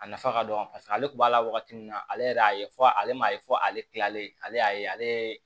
A nafa ka dɔgɔ paseke ale kun b'a la wagati min na ale yɛrɛ y'a ye fɔ ale m'a ye fɔ ale kilalen ale y'a ye ale